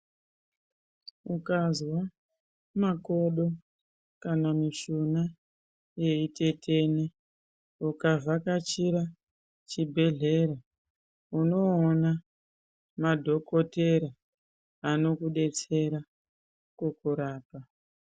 Ukazwa makodo kana mishuna yeitetena ukavhakachira chibhedhlera unoona madhokotera anokudetsera kukurapa .